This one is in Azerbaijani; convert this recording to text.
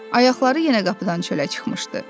Ayaqları yenə qapıdan çölə çıxmışdı.